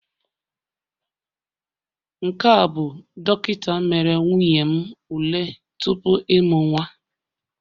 Nke a bụ dọkịta mere nwunye m ule tupu ịmụ nwa